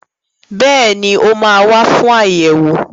Bẹ́ẹ̀ni, ó máa wà fún ayẹwo.